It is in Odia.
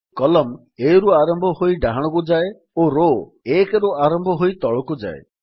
କଲମ୍ନ Aରୁ ଆରମ୍ଭ ହୋଇ ଡାହାଣକୁ ଯାଏ ଓ ରୋ 1ରୁ ଆରମ୍ଭ ହୋଇ ତଳକୁ ଯାଏ